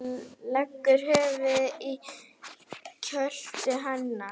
Leggur höfuðið í kjöltu hennar.